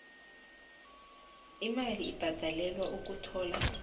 imali ebhadalelwa ukuthola